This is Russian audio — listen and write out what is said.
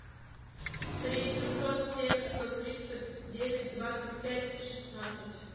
три семьсот семь сто тридцать девять двадцать пять шестнадцать